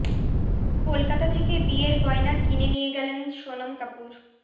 কলকাতা থেকে বিয়ের গয়না কিনে নিয়ে গেলেন সোনম কাপুর